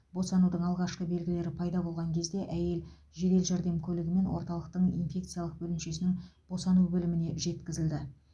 босанудың алғашқы белгілері пайда болған кезде әйел жедел жәрдем көлігімен орталықтың инфекциялық бөлімшесінің босану бөліміне жеткізілді